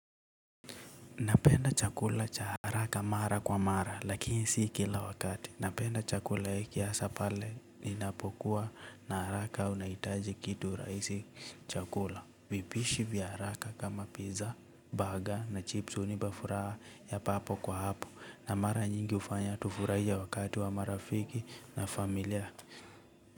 Napenda chakula cha haraka mara kwa mara lakini si kila wakati napenda chakula ya kiasa pale ninapokuwa na haraka unaitaji kitu raisi chakula. Vipishi vya haraka kama pizza baga na chips unipafuraa ya papo kwa hapo na mara nyingi ufanya tufuraie wakati wa marafiki na familia ya.